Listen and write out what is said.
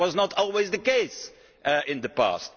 that was not always the case in the past.